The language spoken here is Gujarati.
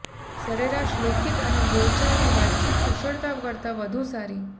સરેરાશ લેખિત અને બોલચાલની વાતચીત કુશળતા કરતા વધુ સારી